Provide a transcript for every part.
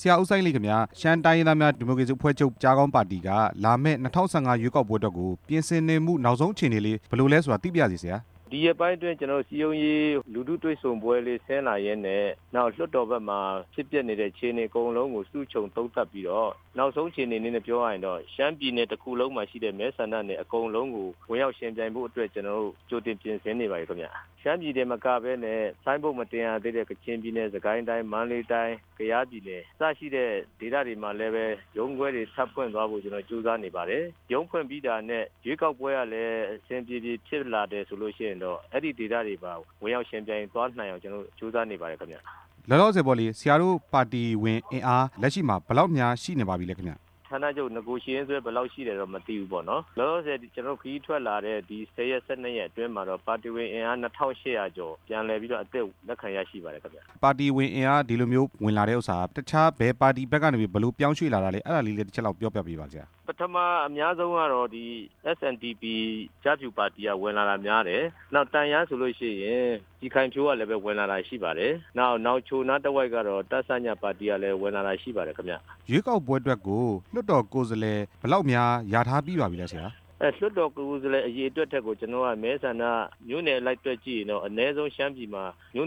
ဆရာ ဦးစိုင်းလိတ်ခင်ဗျား ရှမ်းတိုင်းရင်းသား ဒီမိုကရေစီအဖွဲ့ချုပ် ပါတီက လာမယ့် ၂ဝ၁၅ ရွေးကောက်ပွဲအတွက်ကို ပြင်ဆင်နေမှု နောက်ဆုံးအခြေအနေလေး ဘယ်လိုလဲဆိုတာ သိပါရစေဆရာ။ ဒီရက်ပိုင်းအတွင်း ကျနော်တို့ စည်းရုံးရေးလူထုတွေ့ဆုံပွဲလေး ဆင်းလာရင်းနဲ့ လွှတ်တော် ဘက်မှာဖြစ်ပျက်နေတဲ့ အခြေအနေအကုန်လုံးကို စုခြုံသုံးသပ်ပြီးတော့ နောက်ဆုံးအခြေအနေနဲ့ပြောရရင်တော့ ရှမ်းပြည်နယ်တစ်ခုလုံးမှာရှိတဲ့ မဲဆန္ဒနယ်အကုန်လုံးကို ဝင်ရောက်ယှဉ်ပြိုင်ဖို့အတွက် ကျနော်တို့ ကြိုတင်ပြင် ဆင်နေပါပြီခင်ဗျ၊ ရှမ်းပြည်တင်မကပဲနဲ့ ဆိုင်းဘုတ်မတင်ရသေးတဲ့ ကချင်ပြည်နယ်၊ စစ်ကိုင်းတိုင်း၊ မန္တလေးတိုင်း၊ ကယားပြည်နယ် အစရှိတဲ့ ဒေသတွေမှာလည်း ရုံးခွဲတွေထပ်ဖွင့်သွားဖို့ ကျနော်တို့ ကြိုးစားနေပါတယ်၊ ရုံးဖွင့်ပြီးတာ နဲ့ ရွေးကောက်ပွဲလည်း အဆင်ပြေပြေဖြစ်လာတယ်ဆိုရင်တော့ အဲ့ဒီဒေသတွေပါ ဝင်ရောက်ယှဉ်ပြိုင် သွားနိုင်အောင် ကျနော်တို့ ကြိုးစားနေပါတယ်ခင်ဗျ။ လောလောဆယ်ပေါ့လေ ဆရာတို့ပါတီဝင်အင်အား လက်ရှိမှာ ဘယ်လောက်များ ရှိနေပါပြီလဲခင်ဗျ။ ဌါနချုပ်နဂိုရှိရင်စွဲ ဘယ်လောက်ရှိလဲတော့ မသိဘူးပေါ့နော်၊ လောလောဆယ် ကျနော်တို့ ခရီးထွက်လာတဲ့ ၁ဝ ရက် ၁၂ ရက်အတွင်းမှာတော့ ပါတီဝင်အင်အား ၂၈ဝဝ ကျော် ပြန်လည်ပြီးတော့ အသစ် လက်ခံရရှိပါတယ်။ ပါတီဝင်အင်အား ဒီလိုမျိုးဝင်လာတဲ့ဥစ္စာက တခြားဘယ်ပါတီဘက်ကနေ ဘယ်လိုပြောင်းရွေ့လာတာလဲ အဲ့ဒါလေးလည်း တချက်လောက်ပြောပြပေးပါလား ဆရာ။ ပထမ အများဆုံးကတော့ SNDP ကျားဖြူပါတီက ဝင်လာတာများတယ်၊ နောက် တန့်ယန်းဆိုလို့ရှိရင် ပြည်ခိုင်ဖြိုးကလည်း ဝင်လာတာရှိပါတယ်၊ နောက် နောင်ချိုနားတဝိုက်ကတော့ တ.စ.ည ပါတီကလည်း ဝင်လာရှိပါတယ်ခင်ဗျ။ ရွေးကောက်ပွဲအတွက်ကို လွှတ်တော်ကိုယ်စားလှယ် ဘယ်လောက်များ လျာထားပြီးပါပြီလဲ ဆရာ။ လွှတ်တော်ကိုယ်စားလှယ် အရေအတွက်ထက်ကို ကျနော်က မဲဆန္ဒမြို့နယ်အလိုက် တွက်ကြည့်ပြီးရင်တော့ အနည်းဆုံးရှမ်းပြည်မှာ ၄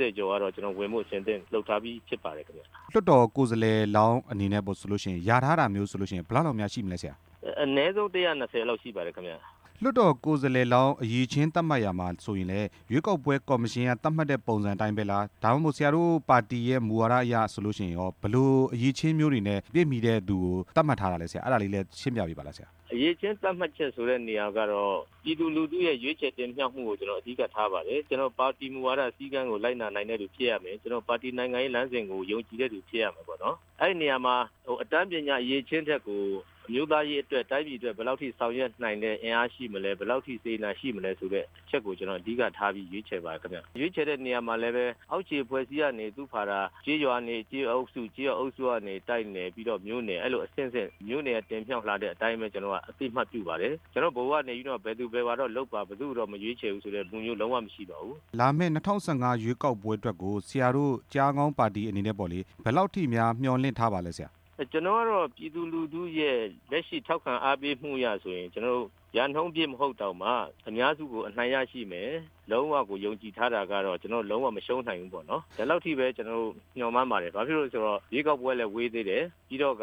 ဝ ကျော် ဝင်ဖို့ကတော့ အဆင်အသင့်လုပ်ထားပြီး ဖြစ်ပါ တယ်ခင်ဗျ။ လွှတ်တော်ကိုယ်စားလှယ်လောင်း အနေနဲ့ပေါ့ဆိုလို့ရှိရင် လျာထားတာမျိုးဆိုလို့ရှိရင် ဘယ်လောက်တောင်များရှိမလဲ ဆရာ။ အနည်းဆုံး ၁၂ဝ ကျော်လောက်ရှိပါတယ်ခင်ဗျ။ လွှတ်တော်ကိုယ်စားလှယ်လောင်း အရည်အချင်းသက်မှတ်ရာမှာဆိုရင်လည်း ရွေးကောက် ပွဲကော်မရှင်က သက်မှတ်တဲ့ပုံစံအတိုင်းပဲလား၊ ဒါမှမဟုတ် ဆရာတို့ပါတီရဲ့မူဝါဒအရဆိုလို့ရှိရင်ရော ဘယ်လို အရည်အချင်းမျိုးတွေနဲ့ ပြည့်မီတဲ့သူကို သက်မှတ်ထားလဲဆရာ အဲ့ဒါလေးလည်း ရှင်းပြပေးပါလား ဆရာ။ အရည်အချင်းသက်မှတ်ချက် နေရာကတော့ ပြည်သူလူထုရဲ့ ရွေးချယ်တင်မြောက်မှုကို ကျနော် အဓိကထားပါတယ်၊ ကျနော် ပါတီမူဝါဒစည်းကမ်းကို လိုက်နာနိုင်တဲ့သူ ဖြစ်ရမယ်၊ ကျနော် ပါတီနိုင်ငံရေး လမ်းစဉ်ကို ယုံကြည်တဲ့သူဖြစ်ရမှာပေါ့၊ အဲ့နေရာမှာ အတန်းပညာ အရည်အချင်းထက်ကို အမျိုးသားရေးအတွက်၊ တိုင်းပြည်အတွက် ဘယ်လောက်ဆောင်ရွက်နိုင်တဲ့ အင်အားရှိမလဲ၊ ဘယ်လောက်အထိ စေတနာရှိမလဲဆိုတဲ့ အချက်ကို ကျနော်အဓိကထားပြီး ရွေးချယ်ပါတယ်ခင်ဗျ၊ ရွေးချယ်တဲ့နေရာမှာလည်းပဲ အောက်ခြေအဖွဲ့အစည်း ကနေ သူ့ဘာသာ ကျေးရွာကနေ ကျေးရွာအုပ်စု၊ တိုက်နယ် ပြီးတော့ မြို့နယ် အဲ့လိုအဆင့်ဆင့် မြို့နယ်က တင်မြောက်လာတဲ့အတိုင်းပဲ ကျနော်တို့က အသိအမှတ်ပြုပါတယ်၊ ကျနော်တို့ ဗဟိုကနေပြီးတော့ ဘယ်သူဘယ် ဝါတော့လုပ်ပါ၊ ဘယ်သူ့ကိုတော့ မရွေးချယ်ဘူး ဒီလိုပုံစံမျိုးလုံးဝမရှိပါဘူး။ လာမယ့် ၂ဝ၁၅ ရွေးကောက်ပွဲအတွက်ကို ဆရာတို့ ကျားခေါင်းပါတီအနေနဲ့ပေါ့လေ ဘယ်လောက်ထိများ မျှော်လင့်ထားပါလဲ ဆရာ။ ကျနော်တို့ကတော့ ပြည်သူလူထုရဲ့ လက်ရှိထောက်ခံအားပေးမှုအရဆိုရင် ကျနော်တို့ ရာနှုန်းပြည့်မဟုတ်တောင်မှ အများစုကိုအနိုင်ရရှိမယ်၊ လုံးဝယုံကြည်ထားတာကတော့ ကျနော်တို့ လုံးဝမရှှုံးနိုင် ဘူးပေါ့နော်၊ ဒီလောက်ထိပဲ ကျနော်တို့ မျှော်မှန်းပါတယ်၊ ဘာဖြစ်လို့လည်းဆိုတော့ ရွေးကောက်ပွဲလည်း ဝေးသေး တယ်၊ ပြီးတော့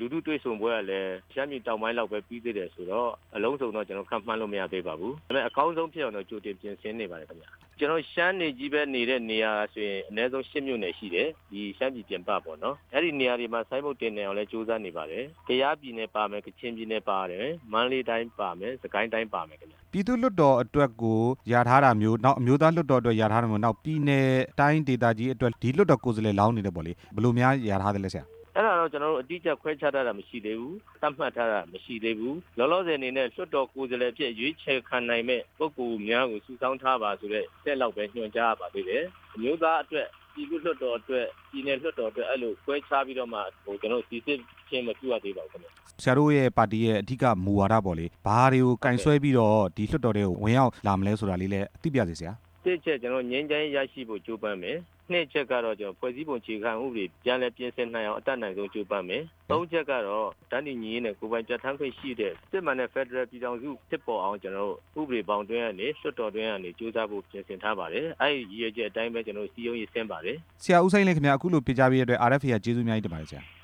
လူထုတွေ့ဆုံပွဲကလည်း ရှမ်းပြည်တောင်ပိုင်းလောက်ပဲ ပြီးသေးတယ်ဆိုတော့ အလုံးစုံတော့ ကျနော်တို့ ခန့်မှန်းလို့မရသေးပါဘူး၊ ဒါပေမဲ့ အကောင်းဆုံးဖြစ်အောင်တော့ ကျနော်တို့ ကြိုတင်ပြင်ဆင်နေပါတယ် ဗျ၊ ကျနော်တို့ ရှမ်းတွေကြီးပဲနေတဲ့နေရာဆိုရင် အနည်းဆုံး ၈ မြို့နယ်ရှိတယ်၊ ဒီရှမ်းပြည်ပြင်ပပေါ့နော်၊ အဲ့ဒီနေ ရာတွေမှာ ဆိုင်ဘုတ်တင်နိုင်အောင် ကြိုးစားနေပါတယ်၊ ကယားပြည်နယ်ပါမယ်၊ ကချင်ပြည်နယ်ပါမယ်၊ မန္တလေးတိုင်းပါမယ်၊ စစ်ကိုင်းတိုင်းပါမယ်ခင်ဗျ။ ပြည်သူ့လွှတ်တော်အတွက်ကို လျာထားတာမျိုး နောက်အမျိုးသား လွှတ်တော်အတွက် လျာထားတာမျိုး နောက်ပြည်နယ်တိုင်းဒေကြီးအတွက် ဒီလွှတ်တော်ကိုယ်စားလှယ်လောင်း တွေပေါ့လေ ဘယ်လိုများလျာထားသလဲ ဆရာ။ အဲ့ဒါတော့ ကျနော်တို့ အတိအကျခွဲခြားထားတာ မရှိသေးဘူး၊ သက်မှတ်ထားတာ မရှိသေး ဘူး၊ လောလောဆယ်အနနဲ့ လွှတ်တော်ကိုစားလှယ်အဖြစ် ရွေးချယ်ခံနိုင်တဲ့ ပုဂ္ဂိုလ်များကို စုဆောင်းထားပါဆိုတဲ့ အဆင့်လောက်ပဲ ညွှန်ကြားထားပါသေးတယ်၊ အမျိုးသားအတွက် ပြည်သူ့လွှတ်တော်အတွက် ပြည်နယ်လွှတ်တော် အတွက် အဲ့လိုခွဲခြားပြီးတော့မှ ကျနော်တို့စိစစ်ခြင်း မပြုရသေးဘူးခင်ဗျ။ ဆရာတို့ရဲ့ ပါတီရဲ့အဓိကမူဝါဒပေါ့လေ ဘာတွေကိုကိုင်စွဲပြီးတော့ ဒီလွှတ်တော်ထဲကို ဝင်ရောက်လာမလဲဆိုတာလေးလည်း သိပါရစေ ဆရာ။ အချက် ကျနော်တို့ ငြိမ်းချမ်းရေးရဖို့ ကြိုးပမ်းမယ်၊ အချက်ကတော့ ကျနော်တို့ ဖွဲ့စည်းပံ အခြေခံဥပဒေ ပြန်လည်ပြင်ဆင်နိုင်အောင် အတက်နိုင်ဆုံးကြိုးပမ်းမယ်၊ အချက်ကတော့ တန်းတူညီညွတ်ရေးနဲ့ ကိုယ်ပိုင်ပြဌါန်ခွင့်ရှိတဲ့ စစ်မှန်တဲ့ဖက်ဒရယ်ပြည်ထောင်စု ဖြစ်ပေါ်အောင် ကျနော်တို့ ဥပဒေဘောင်အတွင်းကနေ၊ လွှတ်တော်တွင်းကနေ ကြိုးပမ်းဖို့ပြင်ဆင်ထားပါတယ်၊ အဲ့ဒီရည်ရွယ်ချက်အတိုင်းပဲ ကျနော်တို့ စည်းရုံးရေးဆင်းပါတယ်။ ဆရာ ဦးစိုင်းလိတ် ခင်ဗျ၊ အခုလိုဖြေကြားပေးတဲ့အတွက် RFA က ကျေးဇူးအများကြီး တင်ပါတယ် ဆရာ။